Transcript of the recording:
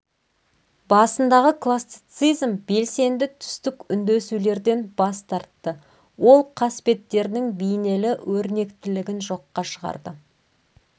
басындағы классицизм белсенді түстік үндесулерден бас тартты ол қасбеттердің бейнелі өрнектілігін жоққа шығарды